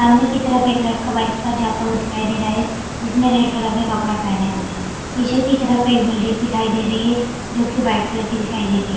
सामने की तरफ एक लड़का बाइक पर जाता हुआ दिखाई दे रहा है जिसने रेड कलर के कपड़े पहने हुए पीछे की तरफ एक बिल्डिंग दिखाई दे रही है जो कि वाइट कलर की दिखाई दे रही है।